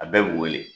A bɛɛ bi wele